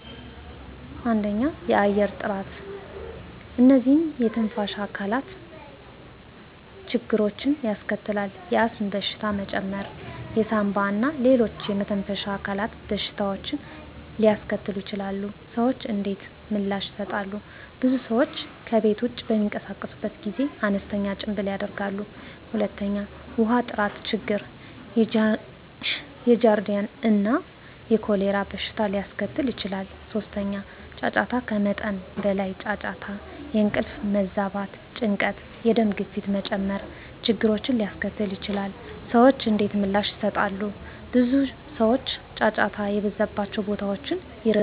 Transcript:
1. የአየር ጥራት *እነዚህ የትንፋሽ አካላት ችግሮችን ያስከትላል፣ የአስም በሽታ መጨመር የሳንባ እና ሌሎች የመተንፈሻ አካላት በሽታዎችን ሊያስከትሉ ይችላሉ። **ሰዎች እንዴት ምላሽ ይሰጣሉ? *ብዙ ሰዎች ከቤት ውጭ በሚንቀሳቀሱበት ጊዜ አነስተኛ ጭምብል ያደርጋሉ። 2. ውሃ ጥራት ችግር የጃርዲያ እና የኮሌራ በሽታ ሊያስከትል ይችላል። 3. ጫጫታ ከመጠን በላይ ጫጫታ የእንቅልፍ መዛባት፣ ጭንቀት፣ የደም ግፊት መጨመር ችግርን ሊያስከትል ይችላል። *ሰዎች እንዴት ምላሽ ይሰጣሉ? ብዙ ሰዎች ጫጫታ የበዛባቸውን ቦታዎች ይርቃሉ።